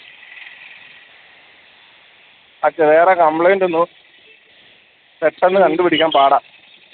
വേറെ complaint ഒന്നും പെട്ടെന്ന് കണ്ടുപിടിക്കാൻ പാടാ